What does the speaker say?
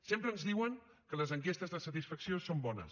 sempre ens diuen que les enquestes de satisfacció són bones